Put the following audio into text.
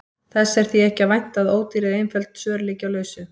Þess er því ekki að vænta að ódýr eða einföld svör liggi á lausu.